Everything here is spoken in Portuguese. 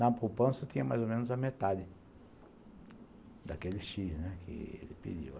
Na poupança tinha mais ou menos a metade daquele X que ele pediu.